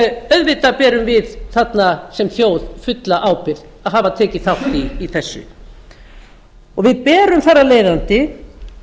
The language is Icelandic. auðvitað berum við þarna sem þjóð fulla ábyrgð að hafa tekið þátt í þessu við berum þar af leiðandi